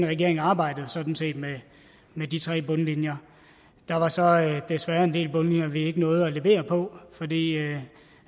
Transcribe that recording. regering arbejdede sådan set med med de tre bundlinjer der var så desværre en del bundlinjer vi ikke nåede at levere på fordi